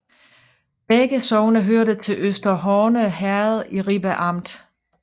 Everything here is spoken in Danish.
Begge sogne hørte til Øster Horne Herred i Ribe Amt